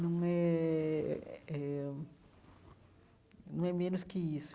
Não é é é é não é menos que isso.